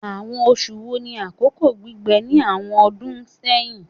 Awọn oṣu wo ni akoko gbigbẹ ni awọn ọdun sẹhin?